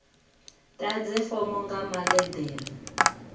ḓadze fomo nga maḽe ḓere